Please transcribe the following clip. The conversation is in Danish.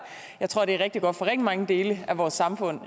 jeg tror det er rigtig godt for rigtig mange dele af vores samfund